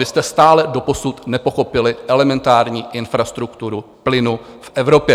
Vy jste stále doposud nepochopili elementární infrastrukturu plynu v Evropě.